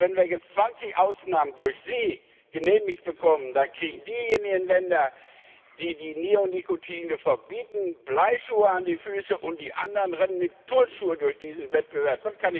Wenn wir jetzt 20 Ausnahmen durch Sie genehmigt bekommen, dann kriegen diejenigen Länder, die die Neonikotinoide verbieten, Bleischuhe an die Füße, und die anderen rennen mit Turnschuhen durch diesen Wettbewerb.